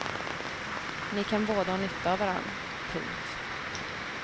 Ni kan båda ha nytta av varann. punkt